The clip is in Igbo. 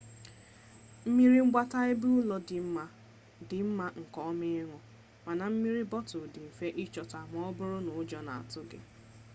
mmiri mgbata ebeụlọ dị mma nke ọma ịn̄ụ mana mmiri bọtụlụ dị mfe ịchọta ma ọ bụrụ na ụjọ na-atụ gị